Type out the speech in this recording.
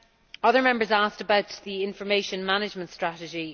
Other Members asked about the information management strategy.